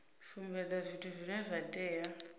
sumbedza zwithu zwine zwa tea